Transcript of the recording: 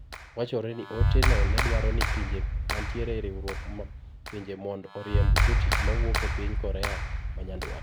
Wachore ni ote`no nedwaro ni pinje mantiere eriwruog pinje mondo oriemb jotich mawuok epiny Korea manyandwat.